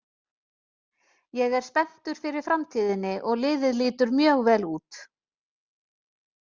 Ég er spenntur fyrir framtíðinni og liðið lítur mjög vel út.